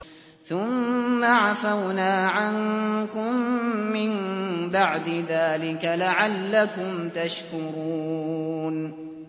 ثُمَّ عَفَوْنَا عَنكُم مِّن بَعْدِ ذَٰلِكَ لَعَلَّكُمْ تَشْكُرُونَ